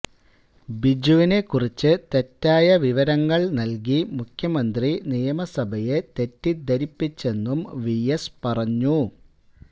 ബിജുവിനെക്കുറിച്ച് തെറ്റായ വിവരങ്ങള് നല്കി മുഖ്യമന്ത്രി നിയമസഭയെ തെറ്റിദ്ധരിപ്പിച്ചെന്നും വിഎസ് പറഞ്ഞു